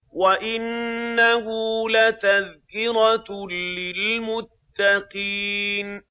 وَإِنَّهُ لَتَذْكِرَةٌ لِّلْمُتَّقِينَ